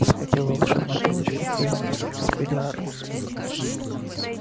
схватил волшебную палочку и произнёс экспеллиармус